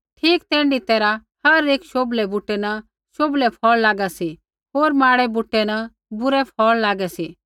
ठीक तैण्ढी तैरहा हर एक शोभलै बूटै न शोभलै फ़ौल़ लागा सी होर माड़ै बूटै न बुरै फ़ौल़ लागा सी